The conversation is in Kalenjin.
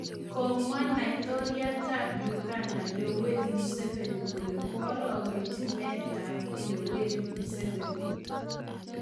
Komwa Laitoriatap uganda Yoweri museni kole koaragenji meetap yoweri museveni.